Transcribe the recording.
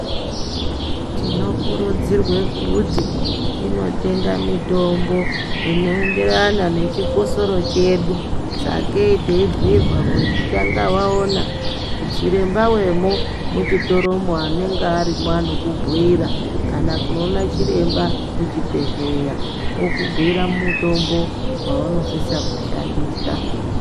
Tino kurudzirwe kuti tinotenga mitombo ino enderana ne chikosoro chedu sakee tei bhuyirwa kuzi tanga waona chiremba wemo mu chitoro mo anenge arimwo anoku bhuyira kana kundono ona chiremba ku chibhedhleya oku bhuyira mutombo wauno sisa ku shandisa.